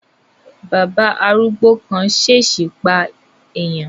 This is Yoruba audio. Bàbá arúgbó kan ṣesi pa eèyàn